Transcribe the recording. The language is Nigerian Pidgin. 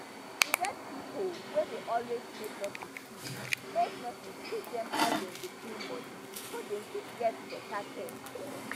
e get pipo wey dey always make nurses teach make nurses teach dem how dem dey clean body so dem fit get better care